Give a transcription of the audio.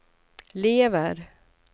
lever